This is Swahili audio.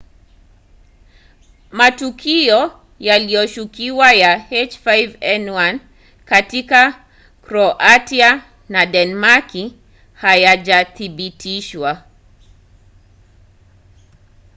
matukio yanayoshukiwa ya h5n1 katika kroatia na denmaki hayajathibitishwa